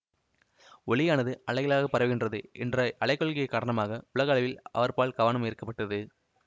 ஒளியானது அலைகளாகப் பரவுகிறது இன்ற அலைக் கொள்கை காரணமாக உலக அளவில் அவர்பால் கவனம் ஈர்க்கப்பட்டது